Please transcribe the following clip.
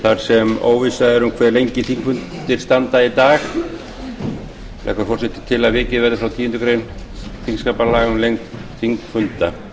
þar sem óvissa er um hve lengi þingfundir standa í dag leggur forseti til að vikið verði frá tíundu greinar þingskapa um lengd þingfunda